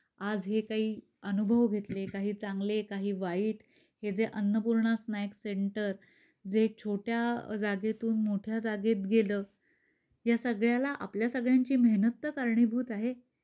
आज हे काही अनुभव घेतले, काही चांगले काही वाईट, हे जे अन्नपूर्णा स्नॅक्स सेंटर जे छोटय़ा जागेतून मोठ्या जागेत गेल, या सगळ्याला आपल्या सगळ्यांची मेहनत तर कारणीभूत आहे.